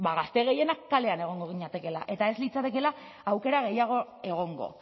gazte gehienak kalean egongo ginatekeela eta ez litzatekeela aukera gehiago egongo